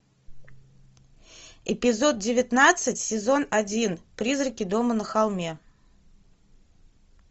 эпизод девятнадцать сезон один призраки дома на холме